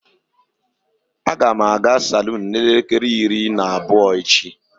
Agam aga salon n'elekere iri na abuo echi.